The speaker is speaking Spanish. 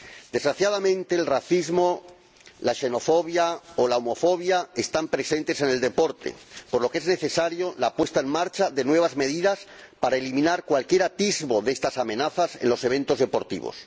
Desgraciadamente, el racismo, la xenofobia y la homofobia están presentes en el deporte, por lo que es necesaria la puesta en marcha de nuevas medidas para eliminar cualquier atisbo de estas amenazas en los eventos deportivos.